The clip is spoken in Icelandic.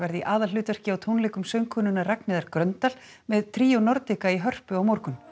í aðalhlutverki á tónleikum söngkonunnar Ragnheiðar Gröndal með Tríó Nordica í Hörpu á morgun